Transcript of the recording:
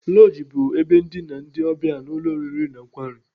Lọji bụ ebe ndina ndị ọbịa n'ụlọ oriri na nkwari.